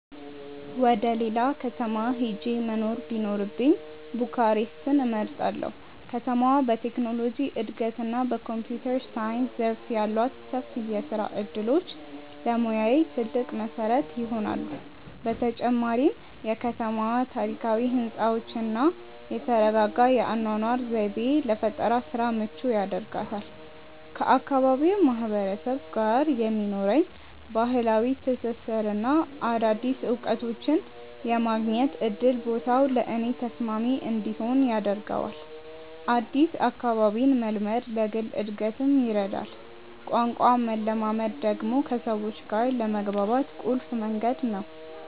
ወደ ሌላ ከተማ ሄጄ መኖር ቢኖርብኝ ቡካሬስትን እመርጣለሁ። ከተማዋ በቴክኖሎጂ እድገትና በኮምፒውተር ሳይንስ ዘርፍ ያሏት ሰፊ የስራ እድሎች ለሙያዬ ትልቅ መሰረት ይሆናሉ። በተጨማሪም የከተማዋ ታሪካዊ ህንፃዎችና የተረጋጋ የአኗኗር ዘይቤ ለፈጠራ ስራ ምቹ ያደርጋታል። ከአካባቢው ማህበረሰብ ጋር የሚኖረኝ ባህላዊ ትስስርና አዳዲስ እውቀቶችን የማግኘት እድል ቦታው ለእኔ ተስማሚ እንዲሆን ያደርገዋል። አዲስ አካባቢን መልመድ ለግል እድገትም ይረዳል። ቋንቋን መለማመድ ደግሞ ከሰዎች ጋር ለመግባባት ቁልፍ መንገድ ነው።